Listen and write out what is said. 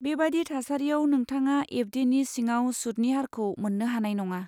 बेबादि थासारियाव, नोंथाङा एफ.दि. नि सिङाव सुतनि हारखौ मोन्नो हानाय नङा।